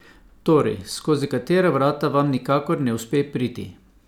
Torej, skozi katera vrata vam nikakor ne uspe priti?